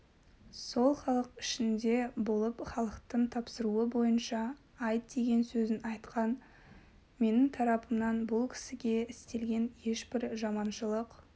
сол халық ішінде болып халықтың тапсыруы бойынша айт деген сөзін айтқан менің тарапымнан бұл кісіге істелген ешбір жаманшылық